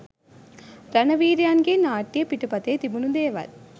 රණවීරයන්ගේ නාට්‍ය පිටපතේ තිබුණු දේවල්